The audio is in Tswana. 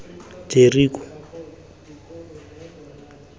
jeriko